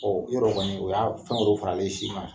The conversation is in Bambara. yɔrɔ kɔni o y'a fɛn faralen sima.